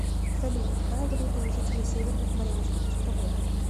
салют какая валюта у жителей северных марианских островов